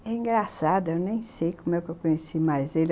É engraçado, eu nem sei como é que eu conheci mais ele.